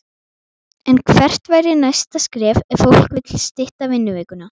En hvert væri næsta skref ef fólk vill stytta vinnuvikuna?